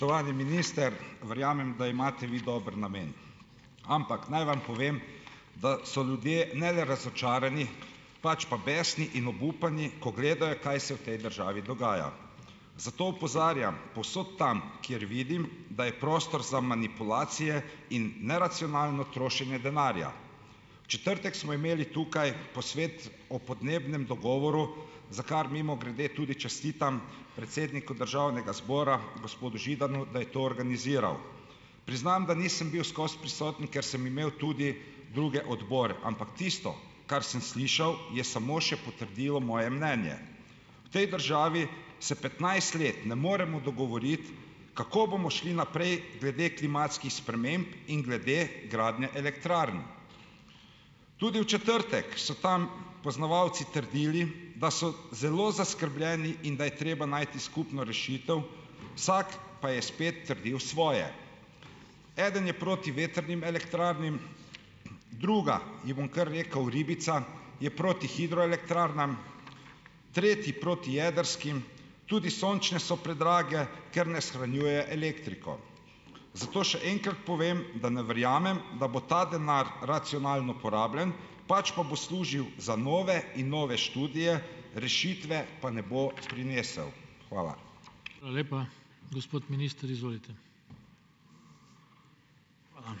Spoštovani minister , verjamem, da imate vi dober namen. Ampak, naj vam povem , da so ljudje ne le razočarani, pač pa besni in obupani, ko gledajo, kaj se v tej državi dogaja. Zato opozarjam, povsod tam, kjer vidim, da je prostor za manipulacije in neracionalno trošenje denarja. V četrtek smo imeli tukaj posvet o podnebnem dogovoru, za kar, mimogrede, tudi čestitam predsedniku državnega zbora, gospodu Židanu, da je to organiziral. Priznam, da nisem bil skozi prisoten, ker sem imel tudi druge odbore. Ampak tisto, kar sem slišal, je samo še potrdilo moje mnenje. V tej državi se petnajst let ne moremo dogovoriti, kako bomo šli naprej glede klimatskih sprememb in glede gradnje elektrarn. Tudi v četrtek so tam poznavalci trdili, da so zelo zaskrbljeni in da je treba najti skupno rešitev, vsak pa je spet trdil svoje. Eden je proti vetrnim elektrarnam, druga, ji bom kar rekel ribica, je proti hidroelektrarnam, tretji proti jedrskim, tudi sončne so predrage, ker ne shranjujejo elektriko. Zato še enkrat povem, da ne verjamem, da bo ta denar racionalno porabljen, pač pa bo služil za nove in nove študije, rešitve pa ne bo prinesel . Hvala. Hvala lepa. Gospod minister, izvolite. Hvala.